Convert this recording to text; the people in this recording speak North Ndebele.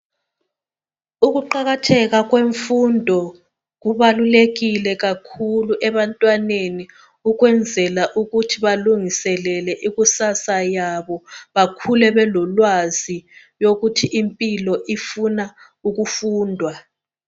Ukuqakatheka kwemfundo kubalulekile kakhulu ebantwaneni ukwenzela ukuthi balungiselele ikusasa labo bakhule belolwazi ukuthi impilo ifuna ukufundwa.